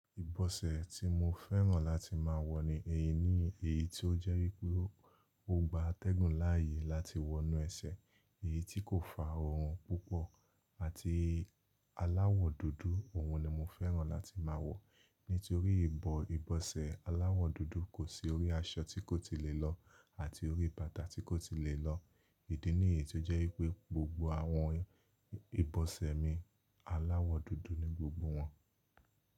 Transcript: Ìbọ̀sẹ̀ tí mo fẹ́ràn láti má a wọ ní eleyíi ní èyí tí ó jẹ́ wípé ó gba atẹ́gùn láàyè láti wọnú ẹsẹ̀, èyí tí kò fa òórù púpọ̀ àti aláwọ̀ dúdú. Òhun ni mo fẹ́ràn láti má a wọ, nítorí ìbọ ìbọ̀sẹ̀ aláwọ̀ dúdú kò sí orí aṣọ tí kò ti lè lọ àti orí bàtà tí kò ti lè lọ. Ìdí niyí tó jẹ́ wípé gbogbo àwọn ìbọ̀sẹ̀ mi aláwọ̀ dúdú ni gbogbo wọn.